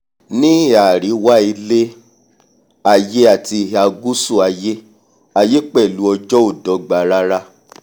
ní ihà àríwá ilé-aiyé àti ihà gùsù aiyé aiyé pẹ̀lú ọjọ́ ò dọ́gba rara